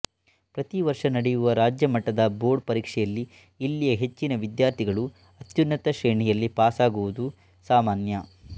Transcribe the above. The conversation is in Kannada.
ಪ್ರತಿ ವರ್ಷ ನಡೆಯುವ ರಾಜ್ಯ ಮಟ್ಟದ ಬೋರ್ಡ್ ಪರೀಕ್ಷೆಯಲ್ಲಿ ಇಲ್ಲಿಯ ಹೆಚ್ಚಿನ ವಿದ್ಯಾರ್ಥಿಗಳು ಅತ್ಯುನ್ನತ ಶ್ರೇಣಿಯಲ್ಲಿ ಪಾಸಗುವುದು ಸಾಮಾನ್ಯ